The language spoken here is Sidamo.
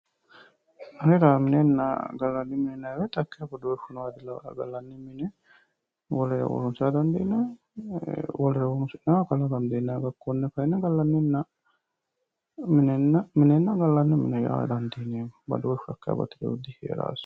Anera minenna gallanni mine yinnanni woyte hakeeshsha badooshu nooha dilawanoe, gallanni mini wolere wora dandiinanni gallanni wolere horonsira dandiinanni konne kayinni minenna gallanni mine yaa dandiineemmo badooshu hakeeshsha lowohu diheeranosi.